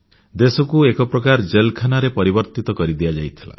ଦେଶକୁ ଏକ ପ୍ରକାର ପାଇଖାନାରେ ପରିବର୍ତ୍ତିତ କରିଦିଆଯାଇଥିଲା